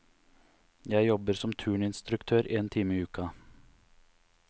Jeg jobber som turninstruktør en time i uka.